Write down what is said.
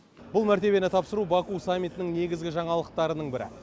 бұл мәртебені тапсыру баку саммитінің негізгі жаңалықтарының бірі